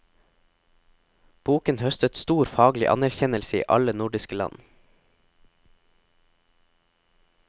Boken høstet stor faglig anerkjennelse i alle nordiske land.